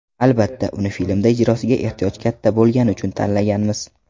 Albatta, uni filmda ijrosiga ehtiyoj katta bo‘lgani uchun tanlaganmiz.